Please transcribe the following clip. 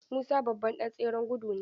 Musa babban ɗan tseren gudu ne.